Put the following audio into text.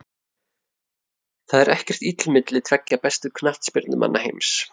Það er ekkert illt milli tveggja bestu knattspyrnumanna heims.